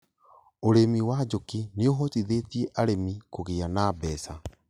ũrĩmi wa njũkĩ noũhotithie arĩmi kũ gĩa na mbeca